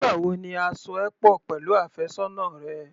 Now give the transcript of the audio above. Nígbà wo ni a so ẹ pọ̀ pẹ̀lú àfẹ́sọ́nà rẹ?